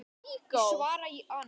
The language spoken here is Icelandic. Ég svara í ann